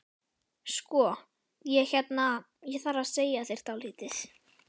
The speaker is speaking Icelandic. Sko. ég hérna. ég þarf að segja þér dálítið.